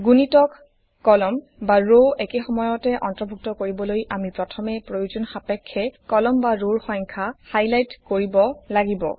গুণিতক কলাম বা ৰ একেসময়তে অন্তৰ্ভুক্ত কৰিবলৈ আমি প্ৰথমে প্ৰয়োজন সাপেক্ষে কলম বা ৰৰ সংখ্যা হাইলাইট কৰিব লাগিব